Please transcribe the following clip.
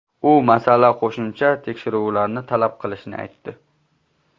U masala qo‘shimcha tekshiruvlarni talab qilishini aytdi.